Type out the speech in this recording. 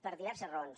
per diverses raons